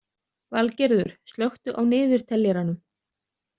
Valgerður, slökku á niðurteljaranum.